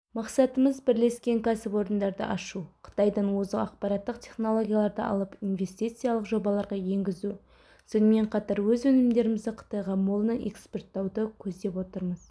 мақсатымыз бірлескен кәсіпорындарды ашу қытайдан озық ақпараттық-технологияларды алып инвестициялық жобаларға енгізу сонымен қатар өз өнімдерімізді қытайға молынан экспорттауды көздеп отырмыз